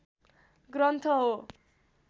ग्रन्थ हो